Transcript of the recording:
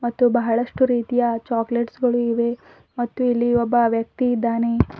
ಮತ್ತು ಬಹಳಷ್ಟು ರೀತಿಯ ಚಾಕಲೇಟ್ಸ್ ಗಳು ಇವೆ ಮತ್ತು ಇಲ್ಲಿ ಒಬ್ಬ ವ್ಯಕ್ತಿ ಇದ್ದಾನೆ.